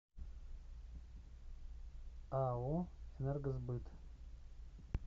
ао энергосбыт